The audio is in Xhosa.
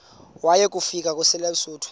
waya kufika kwelabesuthu